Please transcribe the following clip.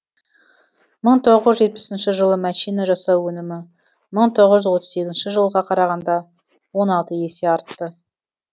мың тоғыз жүз жетпісінші жылы мәшине жасау өнімі мың тоғыз жүз отыз сегізінші жылға қарағанда он алты есе артты